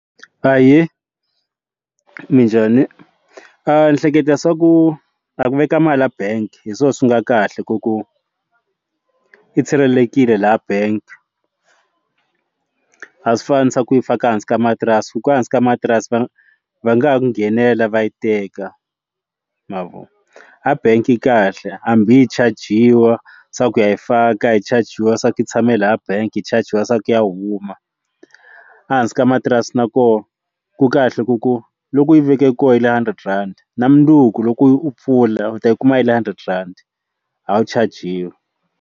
Ahee minjhani ndzi hleketa swa ku a ku veka mali ya bank hi swona swi nga kahle ku ku i sirhelelekile laha bank a swi fani swa ku faka ehansi ka matirasi hikuva ehansi ka matirasi va va nga ha nghenela va yi teka mavoni a bangi yi kahle hambi hi chajiwa se ku ya hi faka hi chajiwa swaku ku hi tshame laha bangi yi chajiwa se ku ya huma ehansi ka matirasi na kona ku kahle ku ku loko u yi veke kona yi le hundred rand na mundzuku loko u pfula u ta yi kuma ya le hundred rhandi a wu chajiwa.